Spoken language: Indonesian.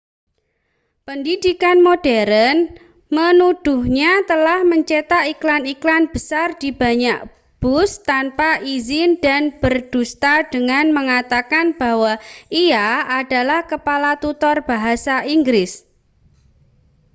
pendidikan modern menuduhnya telah mencetak iklan-iklan besar di banyak bus tanpa izin dan berdusta dengan mengatakan bahwa ia adalah kepala tutor bahasa inggris